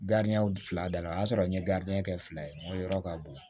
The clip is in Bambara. fila dala o y'a sɔrɔ n ye kɛ fila ye o yɔrɔ ka bon